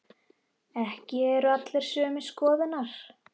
Ekki eru allir sömu skoðunar